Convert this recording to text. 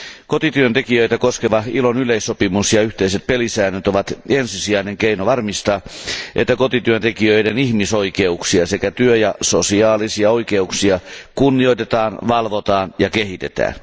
Kotityöntekijöitä koskeva ILOn yleissopimus ja yhteiset pelisäännöt ovat ensisijainen keino varmistaa, että kotityöntekijöiden ihmisoikeuksia sekä työ ja sosiaalisia oikeuksia kunnioitetaan, valvotaan ja kehitetään.